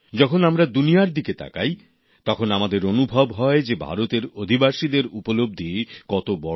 যখন আমরা দুনিয়ার দিকে তাকাই তখন আমাদের মনে হয় যে ভারতের অধিবাসীদের উপলব্ধি কত বড়